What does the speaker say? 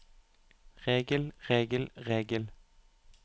regel regel regel